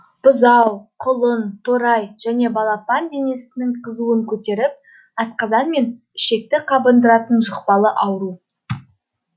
бұзау құлын торай және балапан денесінің қызуын көтеріп асқазан мен ішекті қабындыратын жұқпалы ауру